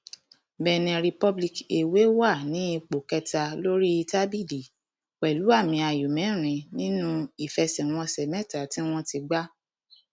benin republic èwe wà ní ipò kẹta lórí tábìlì pẹlú àmì ayò mẹrin nínú ìfẹsẹwọnsẹ mẹta tí wọn ti gbà